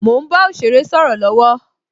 Mo ń bá òsèré sọ̀rọ̀ lọwọ